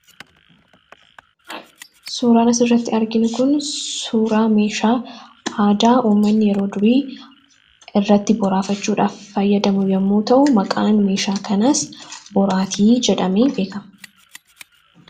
Suuraan asirratti arginu kun suuraa meeshaa aadaa ummanni yeroo durii irratti boraafachuudhaaf fayyadamu yommuu ta'u, maqaan meeshaa kanaas boraatii jedhamee beekama.